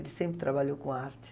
Ele sempre trabalhou com arte.